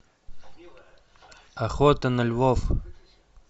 охота на львов